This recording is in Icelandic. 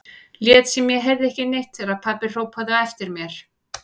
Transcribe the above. Lét sem ég heyrði ekki neitt þegar pabbi hrópaði á eftir mér.